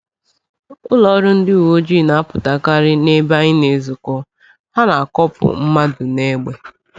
Ụlọọrụ ndị uweojii na-apụtakarị n’ebe anyị na-ezukọ, ha na-akọpụ mmadụ n’egbe.